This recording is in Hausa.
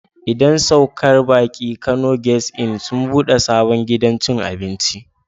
Idan saukar baki Kano guest Inn sun ɓude sabon gidan cin abinci.